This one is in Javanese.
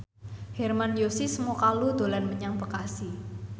Hermann Josis Mokalu dolan menyang Bekasi